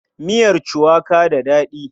Miyar cuwaka da daɗi.